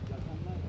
Yaxında.